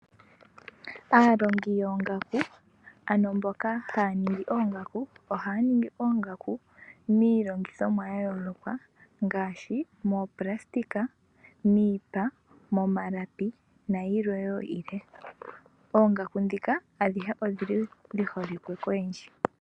Aalongi yongaku ano mboka haningi oongaku , ohaningi oongaku milongithomwa oyayoloka ngashi mopulasitika, miipa, momalapi nayilwe wo yilwe, oongaku dhika adhihe odhili dhiholike koyendji.